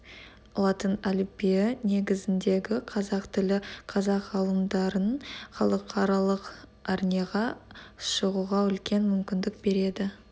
латын әліпбиі негізіндегі қазақ тілі қазақ ғалымдарын халықаралық арнеға шығуға үлкен мүмкіндік береді